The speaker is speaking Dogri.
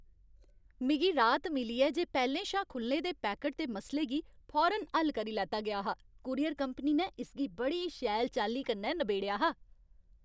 मिगी राहत मिली ऐ जे पैह्लें शा खु'ल्ले दे पैकट दे मसले गी फौरन हल्ल करी लैता गेआ हा। कूरियर कंपनी ने इसगी बड़ी शैल चाल्ली कन्नै नबेड़ेआ हा।